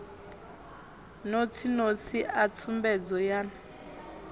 notsi notsi a tsumbedzo yan